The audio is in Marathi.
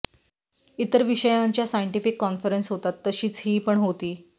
इतर विषयांच्या सायन्टीफिक कॉन्फरन्स होतात तशीच ही पण होती